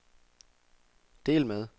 del med